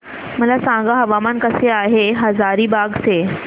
मला सांगा हवामान कसे आहे हजारीबाग चे